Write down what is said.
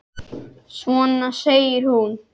Svona! segir hún.